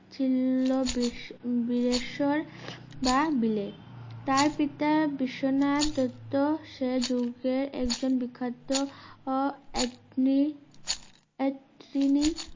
ছিল বিশ~বিলেসর বা বিলে তার পিতা বিশ্বনাথ দত্ত সে যুগে একজন বিখ্যাত আ~একলি এক তিনি